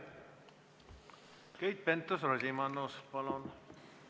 Keit Pentus-Rosimannus, palun!